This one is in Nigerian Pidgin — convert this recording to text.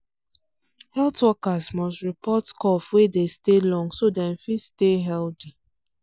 health workers must report cough wey dey stay long so dem fit stay healthy.